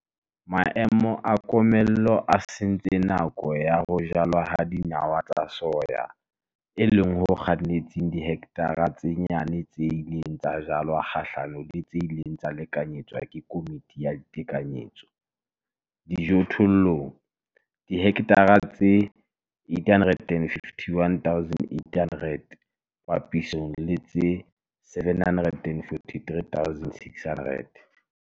Maemo a komello a sentse nako ya ho jalwa ha dinawa tsa soya, e leng ho kgannetseng dihekthareng tse nyane tse ileng tsa jalwa kgahlanong le tse ileng tsa lekanyetswa ke Komiti ya Ditekanyetso Dijothollong, dihekthara tse 851 800 papisong le tse 743 600.